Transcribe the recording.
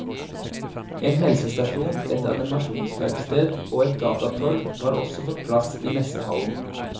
En helsestasjon, et animasjonsverksted og et datatorg har også fått plass i messehallen.